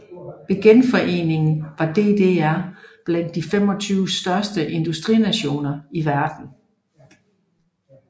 Ved genforeningen var DDR blandt de 25 største industrinationer i verden